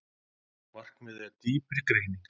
Markmiðið er dýpri greining